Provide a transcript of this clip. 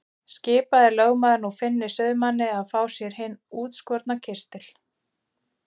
Skipaði lögmaður nú Finni sauðamanni að fá sér hinn útskorna kistil.